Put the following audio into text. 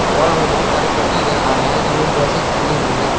और हमें बहुत सारे पुतले नजर आ रहे हैं जिन्होंने ड्रेसस पहनी हुई हैं।